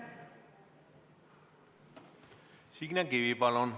Signe Kivi, palun!